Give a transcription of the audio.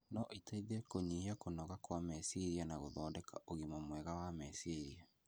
no iteithie kũnyihia kũnoga kwa meciria na gũthondeka ũgima mwega wa meciria.